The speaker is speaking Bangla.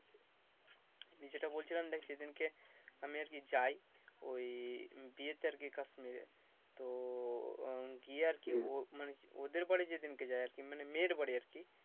আমি যেটা বলছিলাম দেখ সেদিনকে আমি আর কি যাই ওই বিয়েতে আরকি কাশ্মীরে তো উম গিয়ে আরকি মনে ওদের বাড়িতে যেদিনকে যাই আরকি মানে মেয়ের বাড়ি আরকি